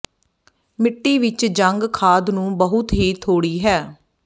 ਮਿੱਟੀ ਵਿੱਚ ਜੰਗ ਖਾਦ ਨੂੰ ਬਹੁਤ ਹੀ ਥੋੜੀ ਹੈ